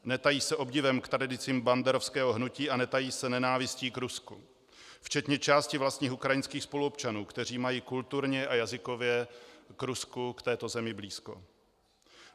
Netají se obdivem k tradicím banderovského hnutí a netají se nenávistí k Rusku, včetně části vlastních ukrajinských spoluobčanů, kteří mají kulturně a jazykově k Rusku, k této zemi, blízko.